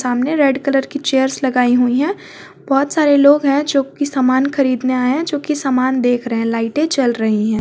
सामने red colour की chairs लगाई हुई हैं बहुत सारे लोग हैं जो की सामान खरीदने आए हैं जो की समान देख रहे हैं लाइटें जल रही हैं।